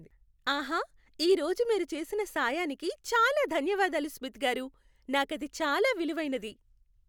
ఆహా, ఈరోజు మీరు చేసిన సాయానికి చాలా ధన్యవాదాలు స్మిత్ గారూ. నాకది చాలా విలువైనది!